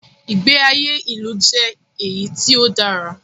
Ìgbé ayé ilu jẹ́ èyí tí o dára.